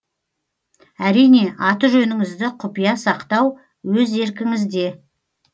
әрине аты жөніңізді құпия сақтау өз еркіңізде